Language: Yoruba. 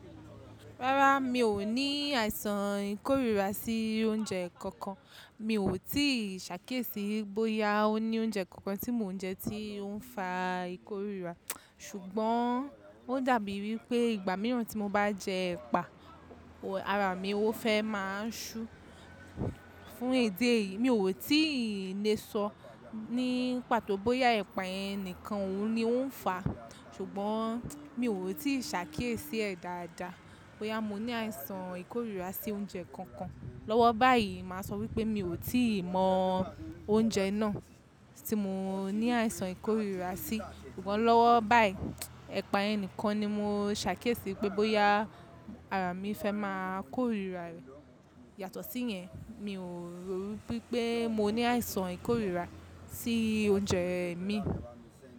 Rárá, mi ò ní àìsàn ìkórìíra sí oúnjẹ kankan. Mi ò tíì ṣàkíyèsí bóyá ó ní oúnjẹ kankan tí mò n jẹ tí ó ń fa ìkórìíra. Ṣùgbọ́n ó dàbí ìwí pé ìgbà mìíràn tí mo bá jẹ ẹpa, ara mi ó fẹ́ má ṣú. Fún ìdí èyìí mi ò tíì le sọ ní pàtó bóyá ẹpa ẹni nìkan òun ni ó ń fa. Ṣùgbọ́n mi ò tíì ṣàkíyèsí ẹ̀ dáadáa. Bóyá mo ní àìsàn ìkórìíra sí oúnjẹ kankan. Lọ́wọ́ báyìí màá sọ wípé mi ò tíì mọ oúnjẹ náà tí mo ní àìsàn ìkórìíra sí. Ṣùgbọ́n lọ́wọ́ báyìí, ẹpa yẹn nìkan ni mo ṣàkíyèsí pé bóyá ara mi fẹ́ máa kórìíra rẹ̀. Yàtọ̀ sí yẹn, mi ò rò wípé mo ní àìsàn ìkórìíra sí oúnjẹ mi.